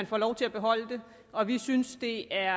får lov til at beholde den og vi synes det er